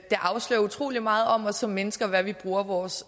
afslører utrolig meget om os som mennesker hvad vi bruger vores